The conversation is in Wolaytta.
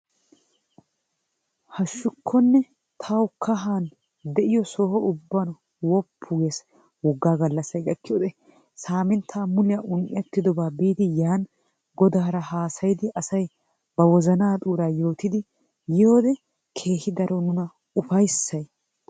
Haashshukkone tawu soho ubban de'iyoo soho ubban qoppu ges woggaa gallassay gakkiyoode saminttaa muliyaa un"ettidobaa biidi yani godaraa haasayidi asay ba wozanaa xuuraa yootidi yiyoode keehi daro nuna ufayssay